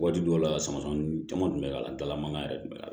Waati dɔw la samasɛn nunnu caman kun be kal'an dala ma yɛrɛ tun